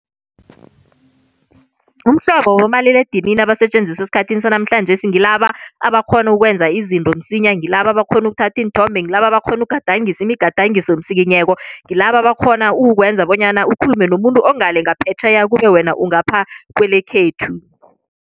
Umhlobo wobomaliledinini abasetjenziswa esikhathini sanamhlanjesi ngilaba abakghona ukwenza izinto msinya, ngilaba abakghona ukuthatha iinthombe, ngilaba abakghona ukugadangisa imigadangisomsikinyeko, ngilaba abakghona ukwenza bonyana ukhulume nomuntu ongale ngaphetjheya kube wena ungapha kwelekhethu.